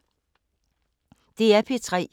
DR P3